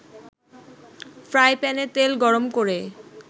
ফ্রাইপ্যানে তেল গরম করে